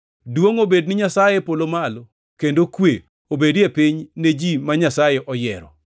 “Duongʼ obed ni Nyasaye e polo malo kendo kwe obed e piny ne ji ma Nyasaye oyiero.”